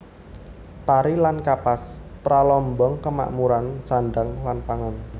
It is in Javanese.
Pari lan Kapas pralambang kamakmuran sandang lan pangan